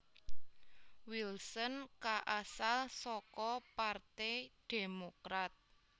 Wilson kaasal saka partai Demokrat